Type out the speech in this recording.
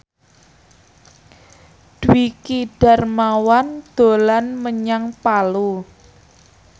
Dwiki Darmawan dolan menyang Palu